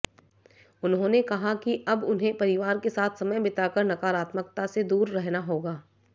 उन्होंने कहा कि अब उन्हें परिवार के साथ समय बिताकर नकारात्मकता से दूर रहना होगा